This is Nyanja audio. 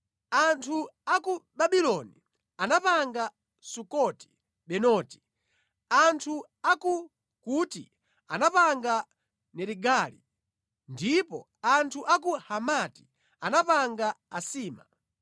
Anthu a ku Babuloni anapanga Sukoti-Benoti, anthu a ku Kuti anapanga Nerigali, ndipo anthu a ku Hamati anapanga Asima;